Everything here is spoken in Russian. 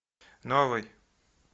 новый